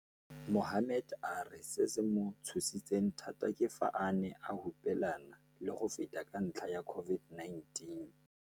Mohammed a re se se mo tshositseng thata ke fa a ne a hupelana le go feta ka ntlha ya COVID-19.